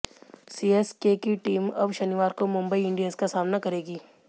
CSK की team अब शनिवार को मुंबई इंडियंस का सामना करेगी